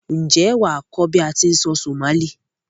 N jé wàá kó bi a ti n sọ Somali